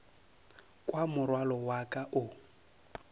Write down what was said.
kwa morwalo wa ka o